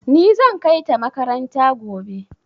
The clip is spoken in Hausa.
Ni zan kai ta makaranta gobe.